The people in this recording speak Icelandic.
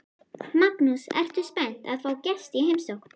Magnús: Ertu spennt að fá gesti í heimsókn?